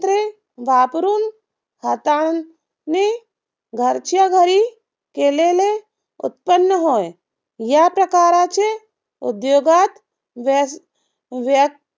वापरून हाताने घरच्याघरी केलेले उत्पन्न होय. या प्रकारचे उद्योगात व्य व्य